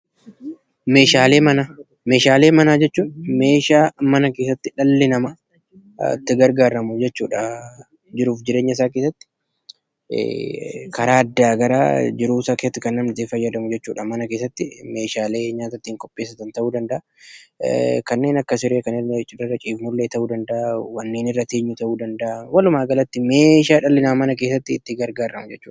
Meeshaalee manaa. Meeshaalee manaa jechuun kan dhalli namaa mana keessatti itti gargaaramuu jechuu dha. Jiruu fi jireenya isaa keessatti karaa addaa addaa kan mana keessatti itti fayyadamu jechuu dha. Meeshaalee nyaata ittiin qopheessan ta'uu danda'a, kanneen akka siree, wanneen Akka irra teenyuus danda'a. Walumaa galatti meeshaa dhalli namaa mana keessatti itti gargaaramu jechuu dha.